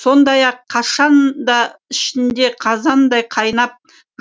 сондай ақ қашан да ішіңде қазандай қайнап